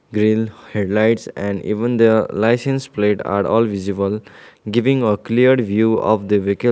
grill headlights and even their licence plate are all visible giving a clear view of the vehicle.